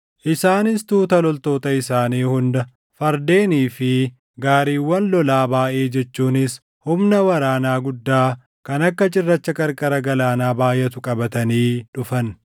Isaanis tuuta loltoota isaanii hunda, fardeenii fi gaariiwwan lolaa baayʼee jechuunis humna waraanaa guddaa kan akka cirracha qarqara galaanaa baayʼatu qabatanii dhufan.